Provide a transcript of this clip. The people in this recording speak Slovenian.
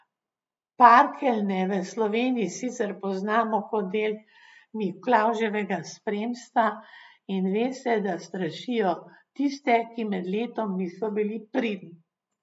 Parkeljne v Sloveniji sicer poznamo kot del Miklavževega spremstva in ve se, da strašijo tiste, ki med letom niso bili pridni.